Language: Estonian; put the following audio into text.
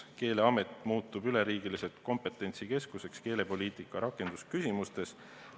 Keeleamet muutub üleriigiliseks kompetentsikeskuseks keelepoliitika rakendamise küsimustes.